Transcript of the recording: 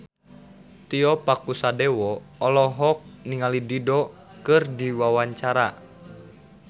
Tio Pakusadewo olohok ningali Dido keur diwawancara